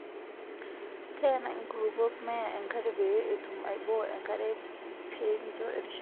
Teena inkurupuok meya enkare pee etum aiboo enkare pee kincho erishata